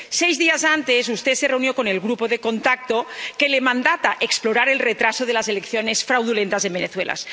Seis días antes, usted se reunió con el Grupo de Contacto, que le confiere el mandato de explorar el retraso de las elecciones fraudulentas en Venezuela.